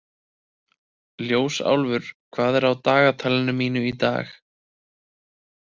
Ljósálfur, hvað er á dagatalinu mínu í dag?